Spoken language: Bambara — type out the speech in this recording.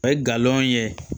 O ye galon ye